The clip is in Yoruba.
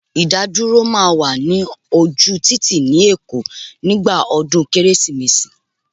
Idaduro máa wà ní ojú títì ni èkó nígbà ọdún Kérésìmesì